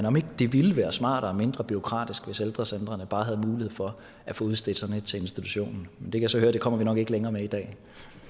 om ikke det ville være smartere og mindre bureaukratisk hvis ældrecentrene bare havde mulighed for at få udstedt sådan et til institutionen men jeg kan så høre at det kommer vi nok ikke længere med i dag